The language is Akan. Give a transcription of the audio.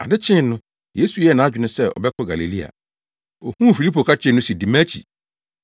Ade kyee no, Yesu yɛɛ nʼadwene sɛ ɔbɛkɔ Galilea. Ohuu Filipo ka kyerɛɛ no se, “Di mʼakyi.”